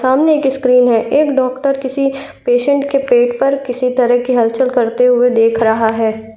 सामने एक स्क्रीन है। एक डॉक्टर किसी पेशेंट के पेट पर किसी तरह की हलचल करते हुए देख रहा है।